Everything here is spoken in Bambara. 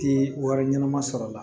Ti wari ɲɛnama sɔrɔ la